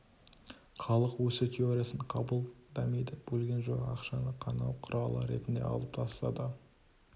халық өсу теориясын қабыл дамиды бөлген жоқ ақшаны қанау құралы ретінде алып тастады